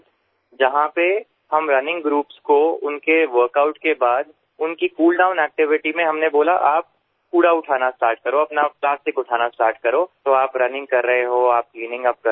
જ્યાં પણ અમે રનિંગ groupsને તેના વર્ક આઉટ પછી તેમની કૂલ ડાઉન activityમાં અમે કહ્યું તમે કચરો ઉઠાવવાનું શરૂ કરો પ્લાસ્ટિક ઉપાડવાનું શરૂ કરો તો તમે દોડવાની સાથોસાથ સફાઈ પણ કરી રહ્યા છો